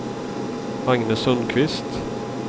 Agne Sundqvist